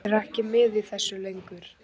Er ekki með í þessu lengur.